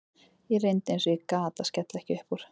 Ég reyndi eins og ég gat að skella ekki upp úr.